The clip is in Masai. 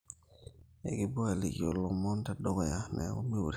ekipuo aalikio iloomoni te dukuya neeku miure